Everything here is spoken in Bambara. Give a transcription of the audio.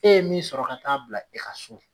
E ye min sɔrɔ ka taa bila e ka so